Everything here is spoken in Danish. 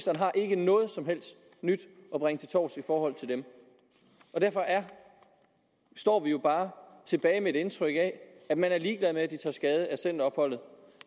har ikke noget som helst nyt at bringe til torvs i forhold til dem og derfor står vi jo bare tilbage med et indtryk af at man er ligeglad med at de tager skade af centeropholdet